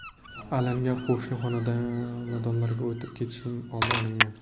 Alanga qo‘shni xonadonlarga o‘tib ketishining oldi olingan.